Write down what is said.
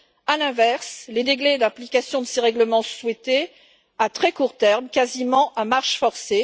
À l'inverse, les délais d'application de ces règlements sont souhaités à très court terme, quasiment à marche forcée.